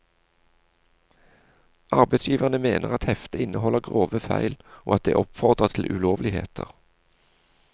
Arbeidsgiverne mener at heftet inneholder grove feil og at det oppfordrer til ulovligheter.